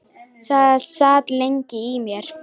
Það sat lengi í mér.